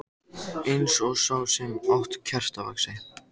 Eins og sá sem át kertavaxið.